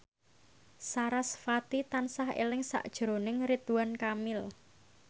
sarasvati tansah eling sakjroning Ridwan Kamil